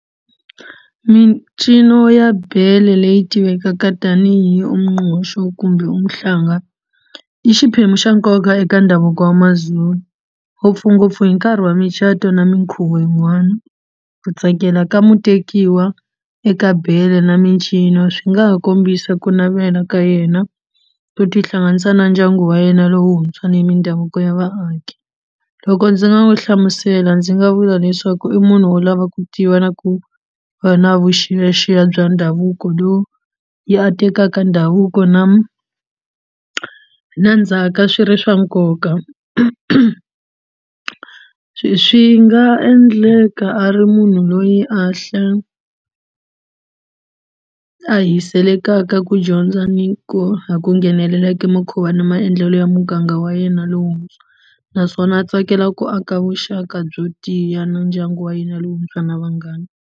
Mincino ya beli leyi tivekaka tanihi umngqusho kumbe umahlanga i xiphemu xa nkoka eka ndhavuko wa maZulu ngopfungopfu hi nkarhi wa micato na minkhuvo yin'wana ku tsakela ka mutekiwa eka bele na mincino swi nga ha kombisa ku navela ka yena ku tihlanganisa na ndyangu wa yena lowuntswa ni mindhavuko ya vaaki loko ndzi nga wu hlamusela ndzi nga vula leswaku i munhu wo lava ku tiva na ku va na vuxiyaxiya bya ndhavuko lowu yi a tekaka ndhavuko na na ndzhaka swi ri swa nkoka swi nga endleka a ri munhu loyi a a ku dyondza ni ku a ku nghenelela ka na maendlelo ya muganga wa yena lowuntshwa naswona a tsakela ku aka vuxaka byo tiya na ndyangu wa yena lowuntshwa na vanghana.